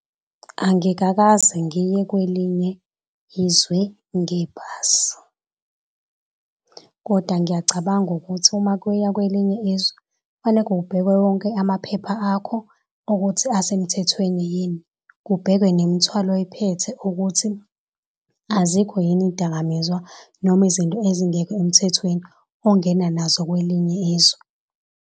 Angikakaze ngiye kwelinye izwe ngebhasi, kodwa ngiyacabanga ukuthi uma kuyiwa kwelinye izwe kufaneke kubhekwe wonke amaphepha akho ukuthi asemthethweni yini. Kubhekwe nemthwalo oyiphethe ukuthi azikho yini izidakamizwa noma izinto ezingekho emthethweni ongena nazo kwelinye izwe.